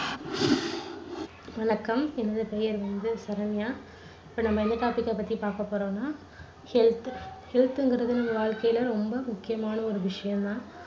வணக்கம். என்னுடைய பெயர் வந்து சரண்யா. இப்போ நம்ப என்ன topic அ பத்தி பாக்க போறோம்னா health health ங்கறது நம்ப வாழ்க்கையில ரொம்ப முக்கியமான ஒரு விஷயம் தான்.